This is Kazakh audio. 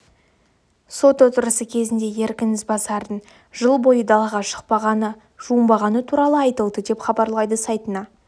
сот отырысы кезінде еркін ізбасардың жыл бойы далаға шықпағаны жуынбағаны туралы айтылды деп хабарлайды сайтына